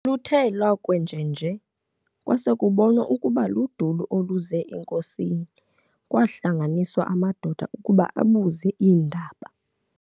Luthe lwakwenjenje kwasekubonwa ukuba luduli oluze enkosini, kwaahlanganiswa amadoda ukuba abuze iindaba.